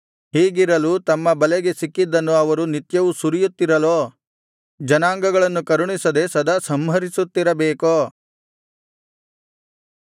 ಹೀಗಿರಲು ತಮ್ಮ ಬಲೆಗೆ ಸಿಕ್ಕಿದ್ದನ್ನು ಅವರು ನಿತ್ಯವೂ ಸುರಿಯುತ್ತಿರಲೋ ಜನಾಂಗಗಳನ್ನು ಕರುಣಿಸದೆ ಸದಾ ಸಂಹರಿಸುತ್ತಿರಬೇಕೋ